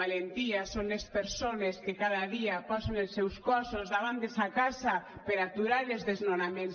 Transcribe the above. valentia són les persones que cada dia posen els seus cossos davant de sa casa per aturar els desnonaments